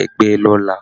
ẹgbẹ́ lọ́la